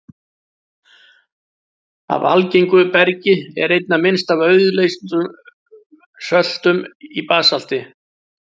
Af algengu bergi er einna minnst af auðleystum söltum í basalti.